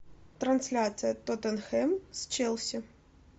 трансляция тоттенхэм с челси